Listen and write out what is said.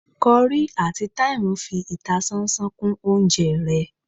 curry atí thyme fi ìtásánsán kún oúnjẹ ré